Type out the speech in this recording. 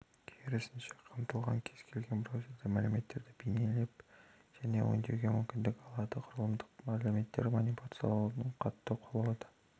керісінше қамтылған кез-келген браузер мәліметтерді бейнелеп және өңдеуге мүмкіндік алады құрылымды мәліметтерді манипуляциялаудың кұтты құралы